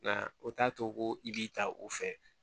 Nka o t'a to ko i b'i ta o fɛ